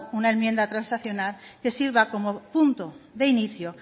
una enmienda transaccional que sirva como punto de inicio